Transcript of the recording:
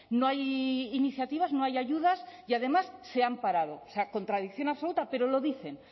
no hay iniciativas no hay ayudas y además se han parado o sea contradicción absoluta pero lo dicen